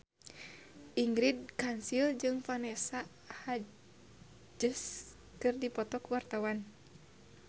Ingrid Kansil jeung Vanessa Hudgens keur dipoto ku wartawan